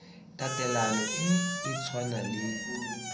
tatelano e e tshwanang le